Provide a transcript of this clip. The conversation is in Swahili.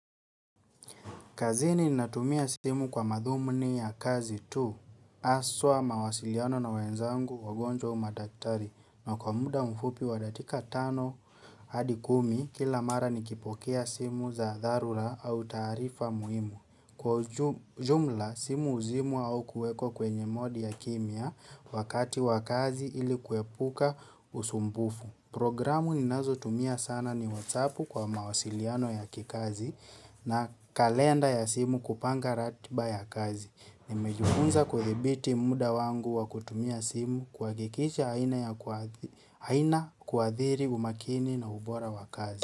Kazini natumia simu kwa madhumuni ya kazi tu haswa mawasiliano na wenzangu wagonjwa au madaktari na kwa muda mfupi wa dakika tano hadi kumi kila mara nikipokea simu za dharura au taarifa muhimu. Kwa jumla simu huzimwa au kuekwa kwenye modi ya kimya wakati wa kazi ili kuepuka usumbufu. Programu ninazotumia sana ni whatsappu kwa mawasiliano ya kikazi na kalenda ya simu kupanga ratiba ya kazi. Nimejifunza kuthibiti muda wangu wa kutumia simu kuhakikisha haina kuadhiri umakini na ubora wa kazi.